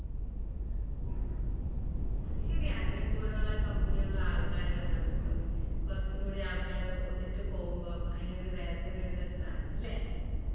അത് ശരിയാ കൂടെയുള്ള company ഉള്ള ആൾക്കാര് വേണം നമ്മള് കുറച്ചുംകൂടി ആൾക്കാര് ഒത്തിട്ടു പോകുമ്പം അയിനൊരു വേറെ തന്നെ ഒരു രസാണ് അല്ലേ